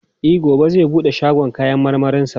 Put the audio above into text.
E, gobe zai bude shagon kayan marmarinsa.